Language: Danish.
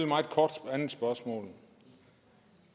meget kort spørgsmål